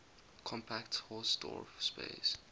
compact hausdorff space